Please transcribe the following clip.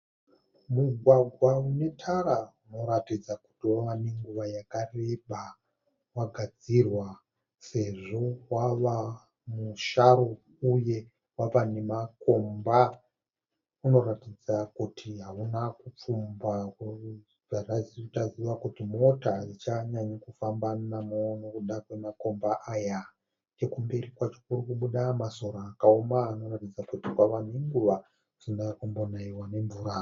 Mugwagwa unetara unoratidza kuti wave nenguva yakareba wagadzirwa sezvo wava musharu uye wava nemakomba. Unoratidza kuti hauna kupfumba nekuti mota hadzichanyanyi kufamba namo nekuda kwamakomba aya. Nechekumberi kwacho kurikubuda masora akaoma anoratidza kuti ave nguva asina kumbonaiwa nemvura.